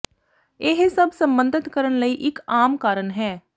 ਇਹ ਸਭ ਸਬੰਧਤ ਕਰਨ ਲਈ ਇੱਕ ਆਮ ਕਾਰਨ ਹੈ